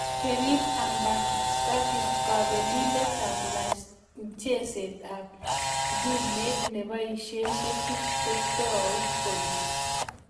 Kerim ahmetspanic:kabelindet ap mcheseet ap ngumeet nebaishe metit kotui koik